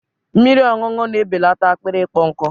Mmiri ọṅụṅụ na-ebelata akpịrị ịkpọ nkụ